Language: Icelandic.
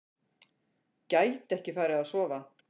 Gæti ekki farið að sofa.